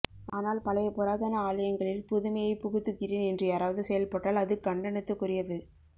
ஆனால் பழைய புராதான ஆலயங்களில் புதுமையை புகுத்துகிறேன் என்று யாராவது செயல் பட்டால் அது கண்டணத்துக்குரியது